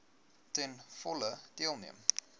ten volle deelneem